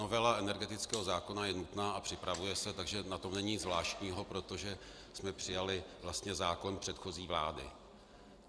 Novela energetického zákona je nutná a připravuje se, takže na tom není nic zvláštního, protože jsme přijali vlastně zákon předchozí vlády.